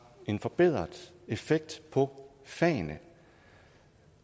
en forbedret effekt på fagene